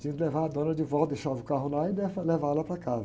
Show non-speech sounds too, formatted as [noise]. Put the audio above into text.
Tinha que levar a dona de volta, deixava o carro lá e, [unintelligible] levar ela para casa.